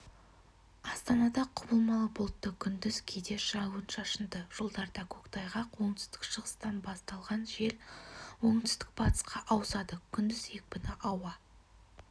астанада құбылмалы бұлтты күндіз кейде жауын-шашынды жолдарда көктайғақ оңтүстік-шығыстан басталған жел оңтүстік-батысқа ауысады күндіз екпіні ауа